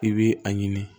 I bi a ɲini